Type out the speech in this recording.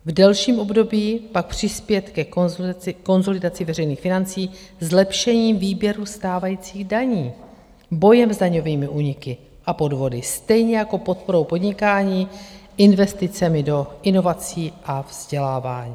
V delším období pak přispět ke konsolidaci veřejných financí zlepšením výběru stávajících daní, bojem s daňovými úniky a podvody, stejně jako podporou podnikání, investicemi do inovací a vzdělávání.